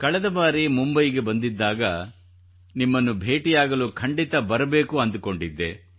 ಕಳೆದ ಬಾರಿ ಮುಂಬಯಿಗೆ ಬಂದಿದ್ದಾಗ ನಿಮ್ಮನ್ನು ಭೇಟಿಯಾಗಲು ಖಂಡಿತಾ ಬರಬೇಕೆಂದುಕೊಂಡಿದ್ದೆ